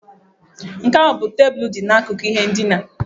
Nke a ọ bụ tebụl dị n'akụkụ ihe ndina?